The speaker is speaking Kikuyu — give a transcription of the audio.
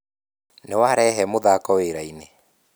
Nĩ warehe muthako wĩra-inĩ